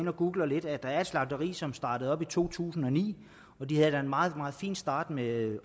har googlet lidt at der er et slagteri som startede op i to tusind og ni og de havde en meget meget fin start med